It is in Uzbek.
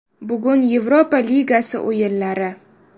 Bugun Yevropa ligasi o‘yinlari.